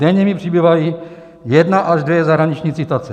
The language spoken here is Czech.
Denně mi přibývají jedna až dvě zahraniční citace.